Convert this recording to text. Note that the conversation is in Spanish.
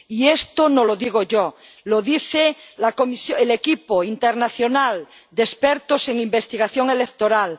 Y esto no lo digo yo, lo dice el equipo internacional de expertos en investigación electoral.